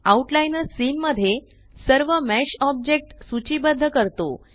out liner scene मध्ये सर्व mesh object सूचीबद्ध करतो